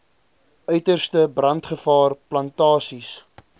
uiterste brandgevaar plantasies